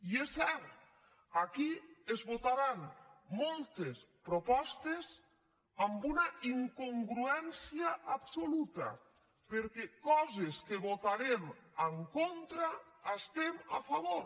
i és cert aquí es votaran moltes propostes amb una incongruència absoluta perquè coses que vota·rem en contra hi estem a favor